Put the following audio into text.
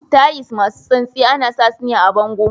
Tiles masu santsi ana sa sune a bango.